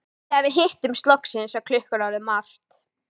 Þegar við hittumst loksins var klukkan orðin margt.